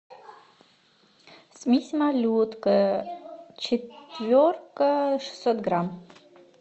смесь малютка четверка шестьсот грамм